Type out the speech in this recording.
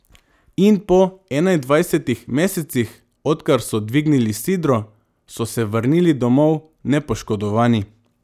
In po enaindvajsetih mesecih, odkar so dvignili sidro, so se vrnili domov nepoškodovani.